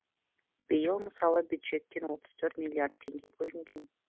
биыл мысалы бюджеттен отыз төрт миллиард теңге бөлінген